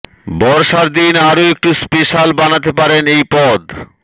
বর্ষার দিন আরও একটু স্পেশাল বানাতে পারেন এই পদ